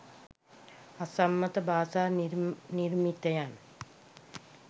අසම්මත භාෂා නිර්මිතයන්